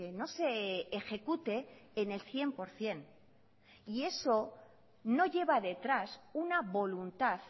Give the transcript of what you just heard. no se ejecute en el cien por ciento y eso no lleva detrás una voluntad